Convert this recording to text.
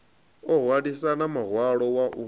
o hwalisana muhwalo wa u